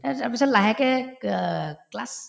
তাৰপিছ‍‍ তাৰপিছত লাহেকে ক class